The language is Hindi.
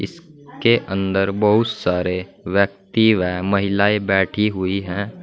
के अंदर बहुत सारे व्यक्ति व महिलाएं बैठी हुई हैं।